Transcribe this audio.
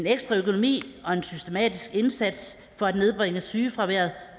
ekstra økonomi og en systematisk indsats for at nedbringe sygefraværet